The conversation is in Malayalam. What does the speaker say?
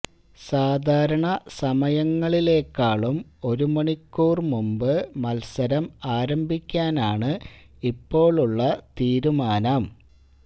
സാധാരണ സമയങ്ങളിലേക്കാളും ഒരു മണിക്കൂർ മുൻപ് മത്സരം ആരംഭിക്കാനാണ് ഇപ്പോഴുള്ള തീരുമാനം